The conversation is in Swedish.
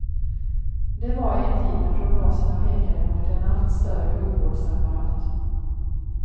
Det var i en tid när prognoserna pekade mot en allt större sjukvårdsapparat.